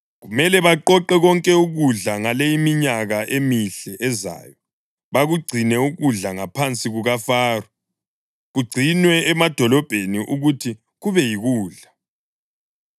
Kumele baqoqe konke ukudla ngale iminyaka emihle ezayo bakugcine ukudla ngaphansi kukaFaro, kugcinwe emadolobheni ukuthi kube yikudla.